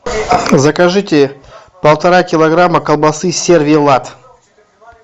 закажите полтора килограмма колбасы сервелат